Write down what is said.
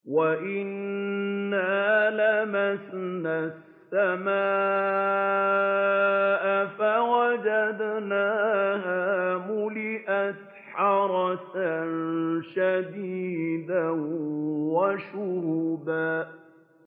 وَأَنَّا لَمَسْنَا السَّمَاءَ فَوَجَدْنَاهَا مُلِئَتْ حَرَسًا شَدِيدًا وَشُهُبًا